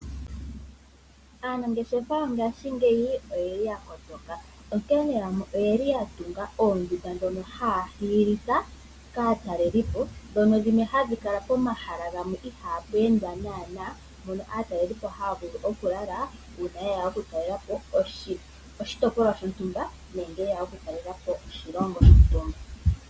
Aanageshefa yongaashingeyi oye li ya kotoka. Onkene yamwe oye li ya tunga oondunda dhono ha ya hiilitha kaatalelipo, dhono dhimwe ha dhi kala pomahala gamwe ihaa pu endwa naanaa, mono aatalelipo ha ya vulu okulala uuna yeya okutalelapo oshitopolwa shontumba, nenge yeya oku talelapo oshilongo shetu.